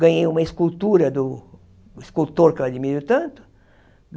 Ganhei uma escultura do escultor que eu admiro tanto.